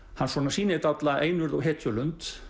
sýnir dálitla einurð og